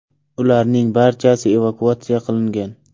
Ularning barchasi evakuatsiya qilingan.